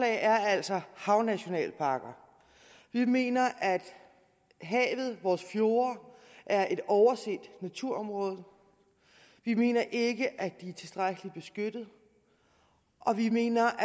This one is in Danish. er altså havnationalparker vi mener at havet og vores fjorde er et overset naturområde vi mener ikke at det er tilstrækkelig beskyttet og vi mener